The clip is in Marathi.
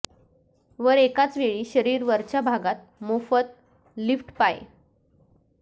वर एकाच वेळी शरीर वरच्या भागात मोफत लिफ्ट पाय